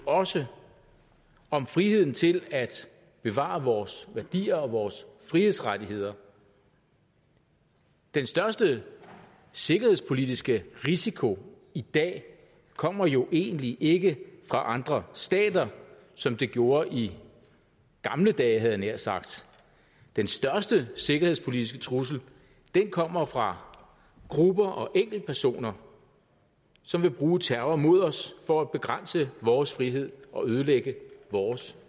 også om friheden til at bevare vores værdier og vores frihedsrettigheder den største sikkerhedspolitiske risiko i dag kommer jo egentlig ikke fra andre stater som det gjorde i gamle dage havde jeg nær sagt den største sikkerhedspolitiske trussel kommer fra grupper og enkeltpersoner som vil bruge terror mod os for at begrænse vores frihed og ødelægge vores